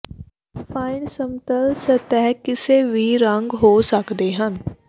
fine ਸਮਤਲ ਸਤਹ ਕਿਸੇ ਵੀ ਰੰਗ ਹੋ ਸਕਦੇ ਹਨ